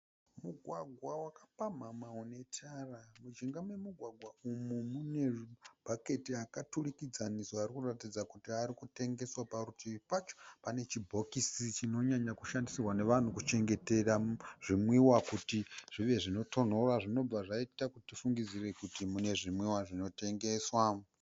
Mugwagwa wakapamhamha une tara. Mujinga memugwagwa umu mune mabhaketi akadurikidzana asikuratidza kuti arikutengeswa Parutivi pacho pane chibhokisi chinonyanya kushandisirwa nevanhu kuchengetera zvimwiwa kuti zvivezvinotonhora, zvinobva zvaita kuti tifungidzire kuti mune zvinwiwa zvinotengeswa.